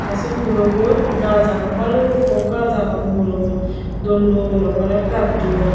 tey sei murobot gaaj agon balukko gaaj agon murobot dol dol okkorey gajjun.